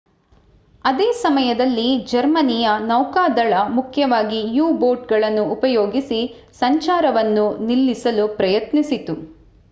ಅದೇ ಸಮಯದಲ್ಲಿ ಜರ್ಮನಿಯ ನೌಕಾದಳ ಮುಖ್ಯವಾಗಿ u-ಬೋಟ್ ಗಳನ್ನೂ ಉಪಯೋಗಿಸಿ ಸಂಚಾರವನ್ನು ನಿಲ್ಲಿಸಲು ಪ್ರಯತ್ನಿಸಿತು